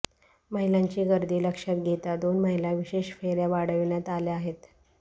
महिलांची गर्दी लक्षात घेता दोन महिला विशेष फेऱ्या वाढविण्यात आल्या आहेत